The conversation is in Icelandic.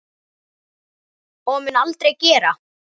Og mun aldrei gera.